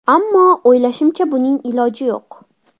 Ammo, o‘ylashimcha buning iloji yo‘q.